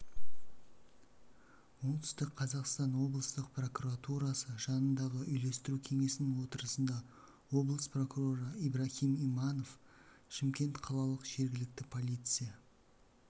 оңтүстік қазақстан облыстық прокуратурасы жанындағы үйлестіру кеңесінің отырысында облыс прокуроры ибраһим иманов шымкент қалалық жергілікті полиция